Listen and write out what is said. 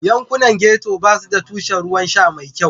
Yankunan Getto ba su da tushen ruwan sha mai kyau.